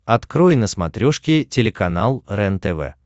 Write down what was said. открой на смотрешке телеканал рентв